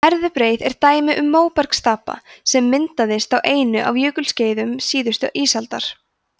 herðubreið er dæmi um móbergsstapa sem myndaðist á einu af jökulskeiðum síðustu ísaldar